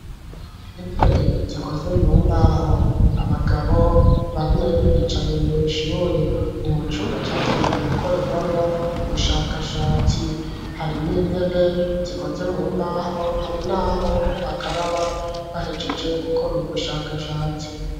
Intebe, zikoze mu mbaho, abagabo bane, bicaye mw'ishure; ni mu cumba cagenewe, gukorerwamwo ubushakashatsi; harimwo intebe, zikoze mu mbaho, hari n'aho bakaraba, bahejeje gukora ,ubu bushakashatsi.